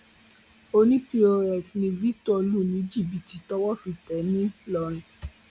ọní pos ni victor lù ní jìbìtì tọwọ fi tẹ é ńlọrọin